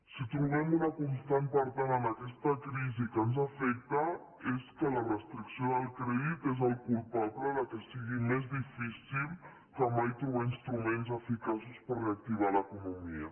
si trobem una constant per tant en aquesta crisi que ens afecta és que la restricció del crèdit és el culpable que sigui més difícil que mai trobar instruments eficaços per reactivar l’economia